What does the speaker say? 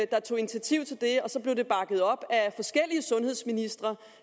der tog initiativ til det og så blev det bakket op af forskellige sundhedsministre